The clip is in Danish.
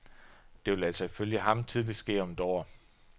Det vil altså ifølge ham tidligst ske om et år.